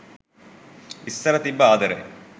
ඉස්සර තිබ්බ ආදරය